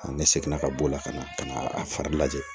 Ne seginna ka b'o la ka na ka na a fari lajɛ